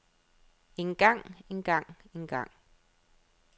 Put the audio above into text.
engang engang engang